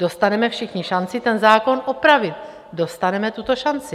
Dostaneme všichni šanci ten zákon opravit, dostaneme tuto šanci.